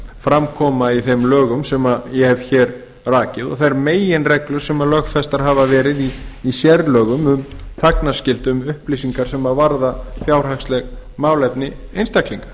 fram koma í þeim lögum sem ég hef hér rakið og þær meginreglur sem lögfestar hafa verið í sérlögum um þagnarskyldu um upplýsingar sem varða fjárhagsleg málefni einstaklinga